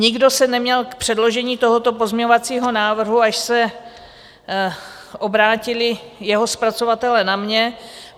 Nikdo se neměl k předložení tohoto pozměňovacího návrhu, až se obrátili jeho zpracovatelé na mě.